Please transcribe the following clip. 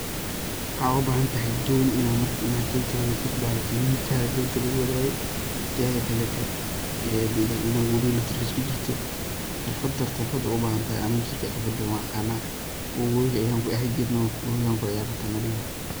Maxaa oga baahan tahay doon inaad, doonta inaad wadatid, miikaha diinta lagu wadaaye teeda kalee te inaad wabiga naftirkiisa ku jirto ,xirfad..xirfad horta u baahan tahay ani naftirkeey xirfada waan aqanaa oo wabiga ayaan ku ciyaar jirnay ,wabiga tana river.